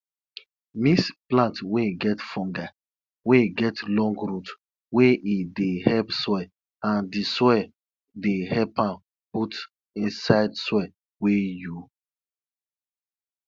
mix plant wey get fungi wey get long root wey e dey help soil and di soil dey help am put inside soil wey you